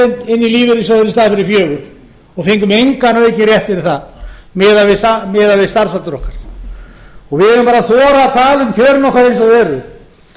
í staðinn fyrir fjögur prósent og fengum engan aukinn rétt fyrir það miðað við starfsaldur okkar við verðum bara að þora að tala um kjörin okkar eins og þau eru